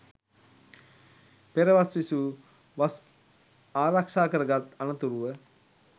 පෙර වස් විසූ, වස් ආරක්ෂා කරගත් අනතුරුව